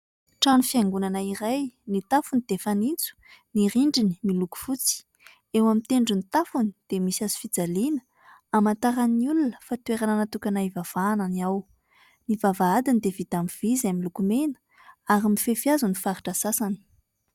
Trano fiangonana iray : ny tafony dia fanitso, ny rindriny miloko fotsy. Eo amin'ny tendron'ny tafony dia misy hazofijaliana hamantaran'ny olona fa toerana natokana hivavahana ny ao. Ny vavahadiny dia vita amin'ny vy izay miloko mena, ary mifefy hazo ny faritra sasany.